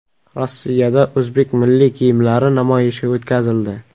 Rossiyada o‘zbek milliy kiyimlari namoyishi o‘tkazildi.